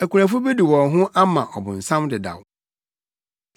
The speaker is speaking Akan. Akunafo bi de wɔn ho ama ɔbonsam dedaw.